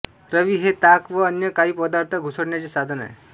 रवी हे ताक व अन्य काही पदार्थ घुसळण्याचे साधन आहे